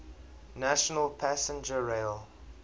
national passenger rail